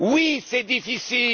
Oui, c'est difficile!